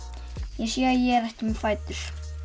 ég sé ég er ekki með fætur